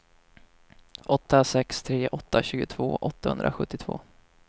åtta sex tre åtta tjugotvå åttahundrasjuttiotvå